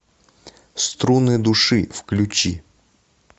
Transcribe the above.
струны души включи